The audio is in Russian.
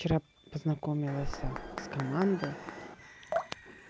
вчера познакомилась с командой